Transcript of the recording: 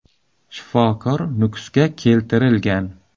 Shifokor Nukusga keltirilgan.